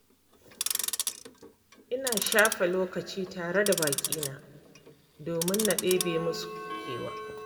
Ina shafe lokaci tare da baƙina domin na ɗebe musu kewa.